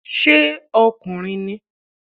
Ṣé ọkùnrin ni?